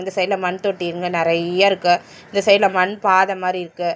சைடுல மண் தொட்டிங்க நெறையருக்கு இந்த சைடுல மண் பாத மாரி இருக்கு.